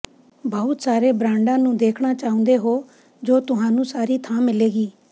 ਬਹੁਤ ਸਾਰੇ ਬ੍ਰਾਂਡਾਂ ਨੂੰ ਦੇਖਣਾ ਚਾਹੁੰਦੇ ਹੋ ਜੋ ਤੁਹਾਨੂੰ ਸਾਰੀ ਥਾਂ ਮਿਲੇਗੀ